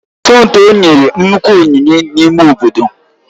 Somtoo nyere nnukwu onyinye n'ime obodo